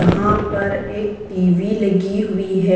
यहां पर एक टीवी लगी हुई है।